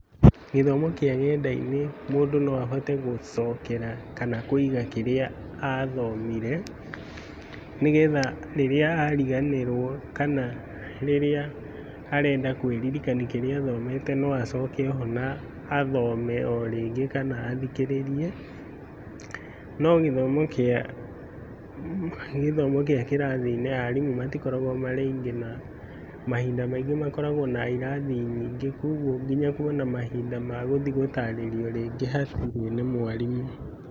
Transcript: Gĩthomo kĩa nenda-inĩ, mũndũ no ahote gũcokera kana kũiga kĩrĩa athomire, nĩgetha rĩrĩa ariganĩrwo kana rĩrĩa arenda kwĩririkania kĩrĩa athomete no acoke o ho na athome o rĩngĩ kana athikĩrĩrie, no gĩthomo gĩa gĩthomo gĩa kĩrathi-inĩ , arimũ matikoragwo marĩ aingĩ na mahinda maingĩ makoragwo na irathi nyingĩ koguo nginya kuona mahinda ma gũthiĩ gũtarĩrio rĩngĩ hatirĩ nĩ mwarimũ.